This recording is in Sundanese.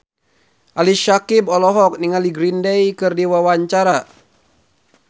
Ali Syakieb olohok ningali Green Day keur diwawancara